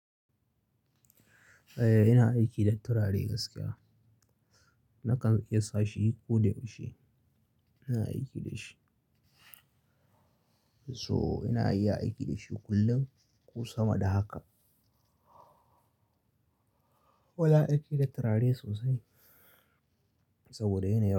Eh, ina aiki da turare gaskiya. Nakan iya sa shi ko da yaushe ina aiki da shi. So ina iya aiki da shi kullum ko sama da haka. Wala aiki da turare sosai saboda yana yawa.